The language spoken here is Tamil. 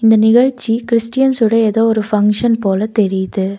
இந் நிகழ்ச்சி கிறிஸ்டியன்ஸ்ஸோட ஏதோ ஒரு பங்ஷன் போல தெரியுது.